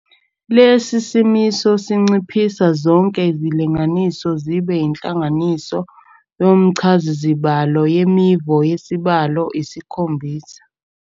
Lesi simiso sinciphisa zonke izilinganiso zibe inhlanganiso yomchazazibalo yemivo yesibalo isikhonbisa.